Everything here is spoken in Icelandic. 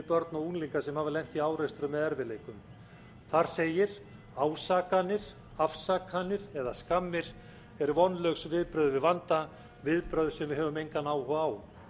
börn og unglinga sem hafa lent í árekstrum eða erfiðleikum þar segir ásakanir afsakanir eða skammir eru vonlaus viðbrögð við vanda viðbrögð sem við höfum engan áhuga á